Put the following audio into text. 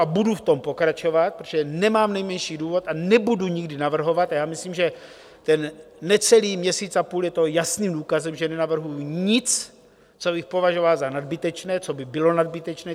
A budu v tom pokračovat, protože nemám nejmenší důvod a nebudu nikdy navrhovat, a já myslím, že ten necelý měsíc a půl je toho jasným důkazem, že nenavrhuji nic, co bych považoval za nadbytečné, co by bylo nadbytečné.